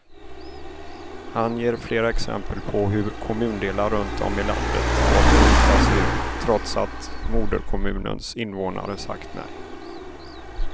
Han ger flera exempel på hur kommundelar runt om i landet fått bryta sig ur, trots att moderkommunens invånare sagt nej.